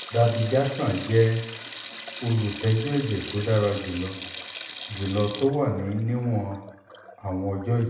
dabigatran jẹ olutẹ́jú ẹ̀jẹ̀ tó dára jù lọ jù lọ tó wà níwọ̀n àwọn ọjọ́ yìí